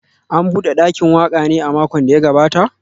An bude dakin waka ne a makon da ya gabata?